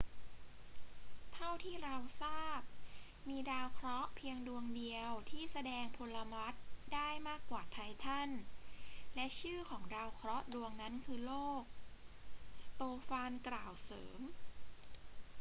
เท่าที่เราทราบ มีดาวเคราะห์เพียงดวงเดียวที่แสดงพลวัตได้มากกว่าไททัน และชื่อของดาวเคราะห์ดวงนั้นคือโลก สโตฟานกล่าวเสริม